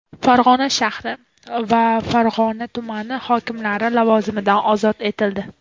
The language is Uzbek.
Farg‘ona shahri va Farg‘ona tumani hokimlari lavozimidan ozod etildi.